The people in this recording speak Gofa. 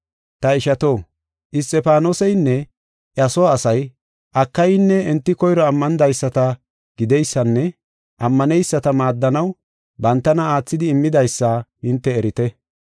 Ta ishato, Isxifaanoseynne iya soo asay Akayan enti koyro ammanidaysata gideysanne ammaneyisata maaddanaw bantana aathidi immidaysa hinte ereeta.